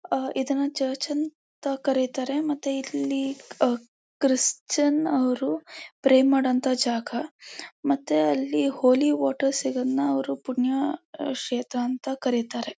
ಆ ಇದನ್ನ ಚರ್ಚ್ ಅಂತ ಕರೀತಾರೆ ಮತ್ತೆ ಇಲ್ಲಿ ಆ ಕ್ರಿಸ್ಟಿಯಾನ್ಸ್ ಅವರು ಪ್ರೇ ಮಾಡೋ ಅಂತ ಜಾಗ ಮತ್ತೆ ಅಲ್ಲಿ ಹೋಲಿ ವಾಟರ್ ಸಿಗೋದನ್ನ ಅವರು ಪುಣ್ಯ ಕ್ಷೇತ್ರ ಅಂತ ಕರೀತಾರೆ.